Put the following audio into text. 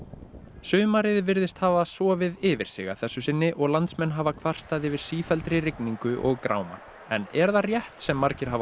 sumarið virðist hafa sofið yfir sig að þessu sinni og landsmenn hafa kvartað yfir sífelldri rigningu og gráma en er það rétt sem margir hafa á